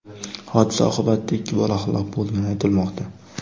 Hodisa oqibatida ikki bola halok bo‘lgani aytilmoqda.